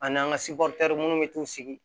Ani an ka minnu bɛ t'u sigi